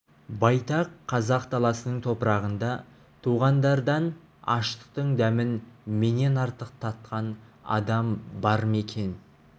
байтақ қазақ даласының топырағында туғандардан аштықтың дәмін менен артық татқан адам бар ма екен